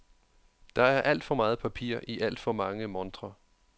Der er alt for meget papir i alt for mange montrer.